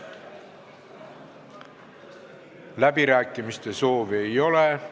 Läbirääkimiste soovi ei ole.